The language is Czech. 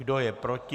Kdo je proti?